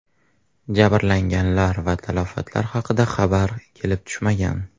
Jabrlanganlar va talafotlar haqida xabar kelib tushmagan.